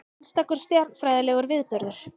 Einstakur stjarnfræðilegur viðburður